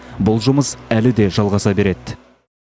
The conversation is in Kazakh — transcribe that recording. бұл жұмыс әлі де жалғаса береді